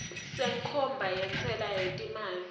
senkhomba yentsela yetimali